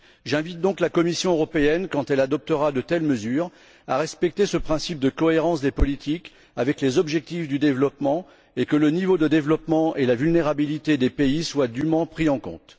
J'invite donc la Commission européenne, quand elle adoptera de telles mesures, à respecter ce principe de cohérence des politiques avec les objectifs du développement, et de veiller à ce que le niveau du développement et la vulnérabilité des pays soient dûment pris en compte.